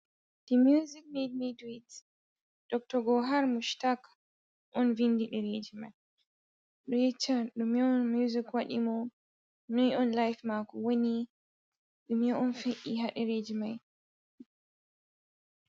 "The Music Made Me Do IT" Dr. Gohar Mushtaq on vindi ɗereji mai. Ɓe yecchan dume on music wadi mo. noi on life mako woni, dume on fe'i ha ɗereji mai.